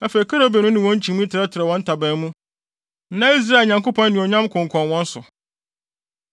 Afei kerubim no ne wɔn nkyimii trɛtrɛw wɔn ntaban mu, na Israel Nyankopɔn anuonyam konkɔn wɔn so.